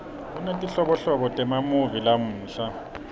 kunetinhlobonhlobo temamuvi lamuhla